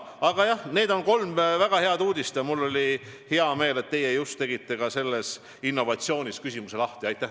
Aga jah, need on kolm väga head uudist ja mul on hea meel, et teie oma küsimusega selle innovatsiooniteema avasite.